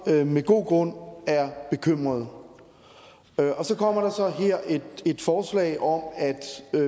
med god grund er bekymrede så kommer der så her et forslag om at